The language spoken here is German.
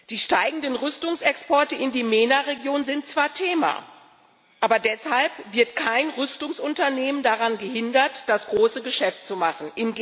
Die steigenden Rüstungsexporte in die MENA Region sind zwar Thema, aber deshalb wird kein Rüstungsunternehmen daran gehindert, das große Geschäft zu machen.